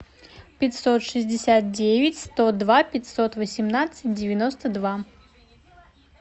пятьсот шестьдесят девять сто два пятьсот восемнадцать девяносто два